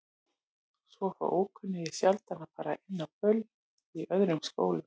Svo fá ókunnugir sjaldan að fara inn á böll í öðrum skólum.